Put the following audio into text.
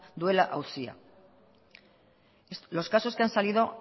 duela auzia los casos que han salido